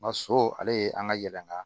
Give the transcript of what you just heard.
Ma so ale ye an ka yɛlɛma